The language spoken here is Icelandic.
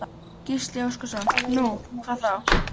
Gísli Óskarsson: Nú, hvað þá?